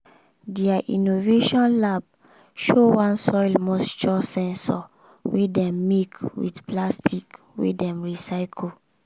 dia innovation lab show one soil moisture sensor wey dem make with plastic wey dem recycle